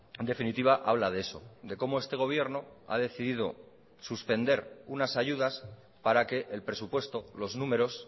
en definitiva habla de eso de cómo este gobierno ha decidido suspender unas ayudas para que el presupuesto los números